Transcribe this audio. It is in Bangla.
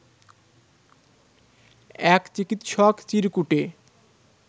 এক চিকিৎসক চিরকুটে